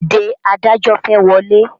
Dìde adájọ́ fẹ́ wọlé!